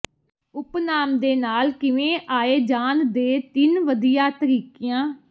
ਉਪਨਾਮ ਦੇ ਨਾਲ ਕਿਵੇਂ ਆਏ ਜਾਣ ਦੇ ਤਿੰਨ ਵਧੀਆ ਤਰੀਕਿਆਂ